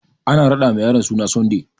Ana raɗa ma yaron suna Sunday